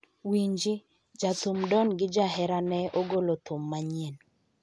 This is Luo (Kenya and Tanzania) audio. winji, jathum Don gi jahera ne ogolo thum manyien